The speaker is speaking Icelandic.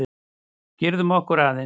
Girðum okkur aðeins!